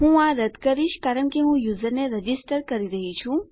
હું આ રદ્દ કરીશ કારણ કે હું યુઝરને રજીસ્ટર કરી રહ્યી છું